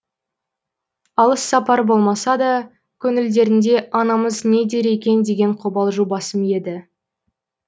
алыс сапар болмаса да көңілдерінде анамыз не дер екен деген қобалжу басым еді